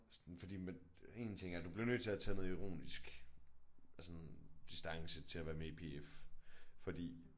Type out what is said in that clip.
Sådan fordi én ting er du bliver nødt til at tage noget ironisk af sådan distance til at være med i PF fordi